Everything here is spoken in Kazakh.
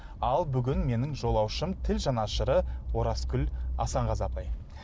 ал бүгін менің жолаушым тіл жанашыры оразгүл асанғазы апай